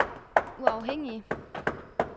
uafhængige